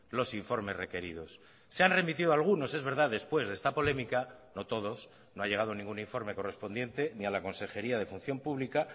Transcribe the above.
los informes requeridos se han remitido algunos es verdad después de esta polémica no todos no ha llegado ningún informe correspondiente ni a la consejería de función pública